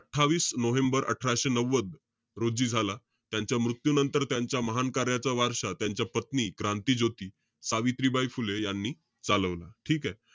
अठ्ठावीस नोव्हेंबर अठराशे नव्वद रोजी झाला. त्यांच्या मृत्यूनंतर त्यांच्या महान कार्याचा वारसा त्यांच्या पत्नी, क्रांतीज्योती सावित्रीबाई फुले यांनी चालवला. ठीके?